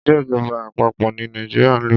Ìṣèjọba àpapọ̀ ní Nàìjíríà ń lò.